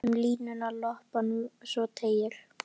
Um línuna lopann svo teygir.